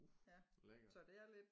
Uh lækkert